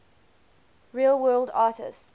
real world artists